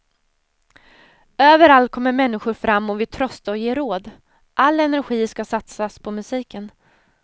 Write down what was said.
Överallt kommer människor fram och vill trösta och ge råd. All energi ska satsas på musiken.